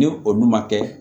Ni olu ma kɛ